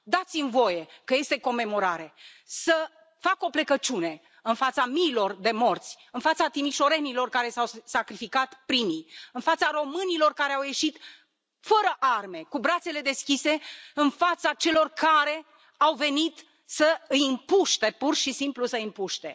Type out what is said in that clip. Dați mi voie, că este comemorare, să fac o plecăciune în fața miilor de morți, în fața timișorenilor, care s au sacrificat primii, în fața românilor care au ieșit fără arme, cu brațele deschise în fața celor care au venit să îi împuște, pur și simplu să îi împuște.